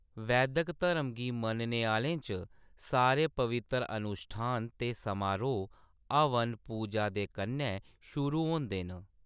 वैदक धरम गी मन्नने आह्‌लें च सारे पवित्तर अनुश्ठान ते समारोह्‌‌ हवन-पूजा दे कन्नै शुरू होंदे न।